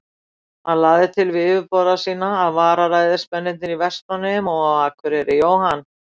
Hann lagði til við yfirboðara sína, að vararæðismennirnir í Vestmannaeyjum og á Akureyri, Jóhann